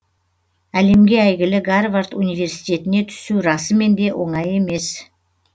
әлемге әйгілі гарвард университетіне түсу расымен де оңай емес